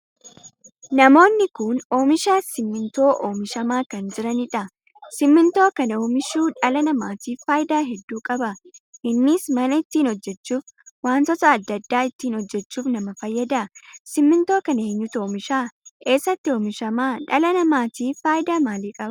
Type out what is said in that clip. Namoonni kun oomisha simmintoo oomishama kan jiraniidha. simmintoo kana oomishuu dhala namaatiif faayidaa hedduu qaba. innis mana ittiin hojjechuuf, wantoota addaa addaa ittiin hojjechuuf nama fayyada. simmintoo kana eenyutu oomisha? eessatti oomishama? dhala namaatiif faayidaa maalii qaba?